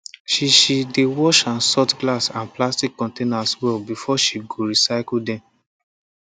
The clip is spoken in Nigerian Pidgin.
she she dey wash and sort glass and plastic containers well before she go recycle dem